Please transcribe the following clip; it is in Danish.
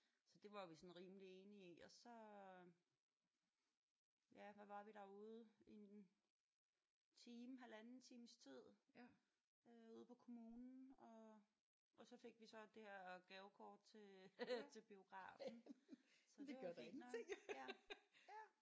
Det var vi sådan rimeligt enige i og så ja hvad var vi derude i en time halvanden times tid ude på kommunen og og så fik vi så det her gavekort til biografen så det var jo fint nok